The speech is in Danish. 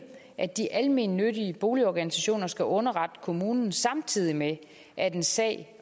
at de almennyttige boligorganisationer skal underrette kommunen samtidig med at en sag